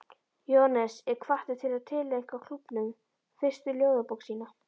Jóhannes er hvattur til að tileinka klúbbnum fyrstu ljóðabók sína.